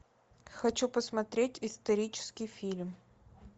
хочу посмотреть исторический фильм